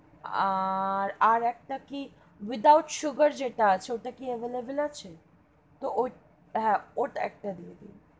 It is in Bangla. আর, আর, একটা কি without sugar যেটা আছে, ওটা কি available আছে?